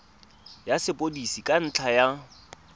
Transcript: ya sepodisi ka ntlha ya